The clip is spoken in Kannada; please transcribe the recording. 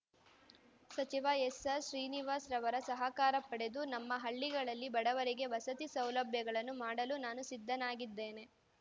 ಸಚಿವ ಎಸ್ಆರ್ ಶ್ರೀನಿವಾಸ್ ರವರ ಸಹಕಾರ ಪಡೆದು ನಮ್ಮ ಹಳ್ಳಿಗಳಲ್ಲಿ ಬಡವರಿಗೆ ವಸತಿ ಸೌಲಭ್ಯಗಳನ್ನು ಮಾಡಲು ನಾನು ಸಿದ್ದನಾಗಿದ್ದೇನೆ